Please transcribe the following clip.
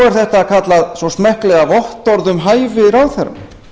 er þetta kallað svo smekklega vottorð um hæfi ráðherra